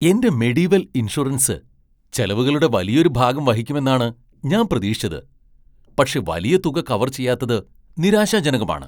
എന്റെ Mediwell insurance ചെലവുകളുടെ വലിയൊരു ഭാഗം വഹിക്കുമെന്നാണ് ഞാൻ പ്രതീക്ഷിച്ചത്. പക്ഷെ വലിയ തുക കവർ ചെയ്യാത്തത് നിരാശാജനകമാണ്.